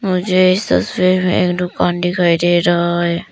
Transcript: मुझे एक दुकान दिखाई दे रहा है।